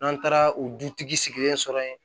N'an taara o dutigi sigilen sɔrɔ yen